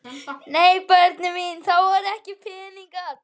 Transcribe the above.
Nei börnin mín, það voru ekki peningar.